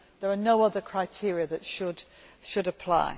human. There are no other criteria that should